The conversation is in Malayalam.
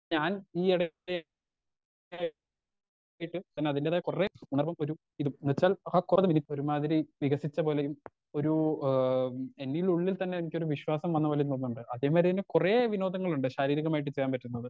ഞാൻ ഈ എട പിന്നെ അതിന്റെതായ കൊറേ എന്നാലും ഒരു ഇത് ന്ന്വെച്ചാൽ ഒരുമാതിരി വികസിച്ച പോലെയും ഒരു ഏഹ് എന്നിൽ ഉള്ളിൽ തന്നെ എനിക്കൊരു വിശ്വാസം വന്നപോലെ തന്നെ ഉണ്ട് അതുവരെന്നെ കൊറേ വിനോദങ്ങളുണ്ട് ശാരീരികമായിട്ട് ചെയ്യാൻ പറ്റുന്നത്